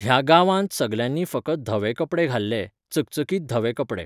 ह्या गांवांत सगल्यांनी फकत धवे कपडे घाल्ले, चकचकीतधवे कपडे.